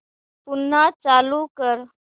पुन्हा चालू कर